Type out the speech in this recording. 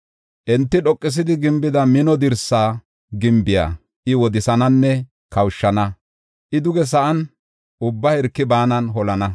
Enti dhoqisidi gimbida mino dirsa gimbiya I wodisananne kawushana; I duge sa7an, ubba hirki baanan holana.